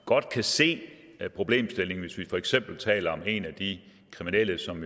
godt kan se problemstillingen hvis vi for eksempel taler om en af de kriminelle som